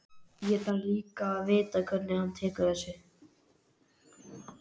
Ég þarf líka að vita hvernig hann tekur þessu.